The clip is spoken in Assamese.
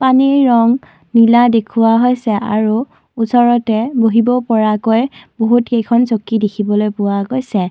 পানীৰ ৰং নীলা দেখুওৱা হৈছে আৰু ওচৰতে বহিব পৰাকৈ বহুতকেইখন চকী দেখিবলৈ পোৱা গৈছে।